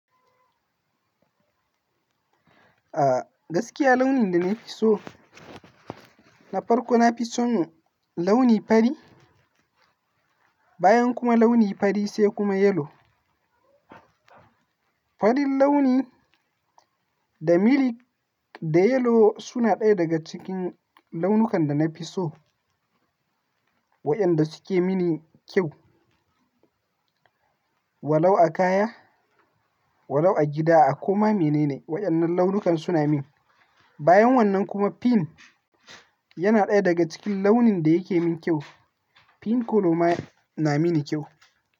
Ah gaskiya launin da nafi so na farko nafi son launi fari, bayan kuma launi fari sai kuma yellow. Farin launi da milik da yellow suna ɗaya daga cikin launukan da nafi so waɗanda suke mini kyau. Walau a kaya, walau a gida a koma menene waɗannan launukan suna min. Bayan wannan kuma pink yana ɗaya daga cikin launin da yake min kyau. Pink kolo ma na mini kyau.